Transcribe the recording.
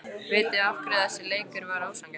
Vitiði af hverju þessi leikur var ósanngjarn?